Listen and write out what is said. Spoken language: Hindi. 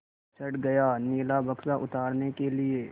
चढ़ गया नीला बक्सा उतारने के लिए